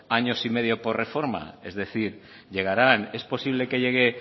años y medio por reforma es decir llegarán es posible que llegue